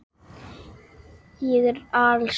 Ég er alsæll.